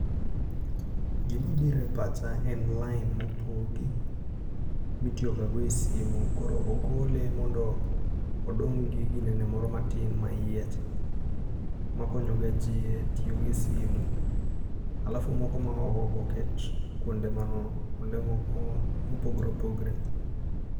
Gimabiro e pacha en lain mopogi, mitiyo gago e simu. Koro ogole mondo odong' gi ginene moro matin ma iye cha ma konyo ga jii e tiyogo e simu. alafu moko ma oko go oket kwonde kwonde moko mopogre opogre